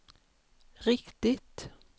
riktigt